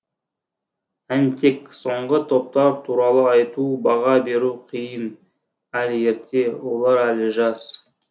әнтек соңғы топтар туралы айту баға беру қиын әлі ерте олар әлі жас